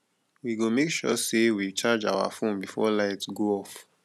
we go make sure sey we charge our fone before light go off